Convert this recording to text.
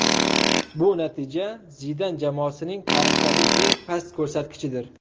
Bu natija Zidan jamoasining tarixdagi eng past ko‘rsatkichidir.